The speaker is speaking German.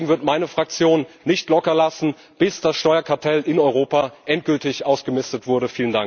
Deswegen wird meine Fraktion nicht locker lassen, bis das Steuerkartell in Europa endgültig ausgemistet wurde.